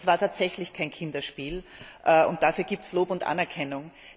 Das war tatsächlich kein Kinderspiel und dafür gibt es Lob und Anerkennung.